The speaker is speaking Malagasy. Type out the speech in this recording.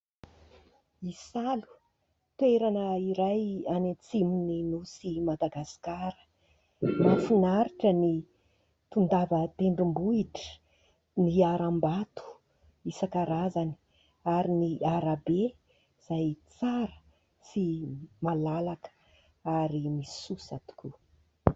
Isalo, toerana iray any atsimon' ny Nosy Madagasikara. Mahafinaritra ny tondava tendrombohitra, ny aram-bato isan-karazany ary ny arabe izay tsara sy malalaka ary misosa tokoa.